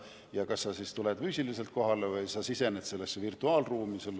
Ja sa tuled füüsiliselt kohale või sisened virtuaalruumi.